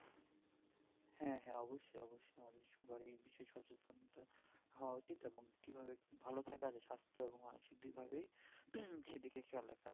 হ্যাঁ হ্যাঁ অবশ্যই অবশ্যই আমাদের সবারই বিশেষ সচেতন টা হওয়া উচিত এবং কি ভাবে ভালো থাকা যাই সাস্থ এবং মানসিক দুই ভাবেই হুম